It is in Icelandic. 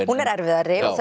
hún er erfiðari